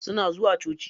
Suna zuwa coci.